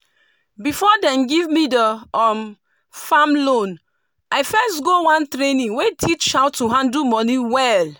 before dem give me the farm loan i first go one training wey teach how to handle moni well.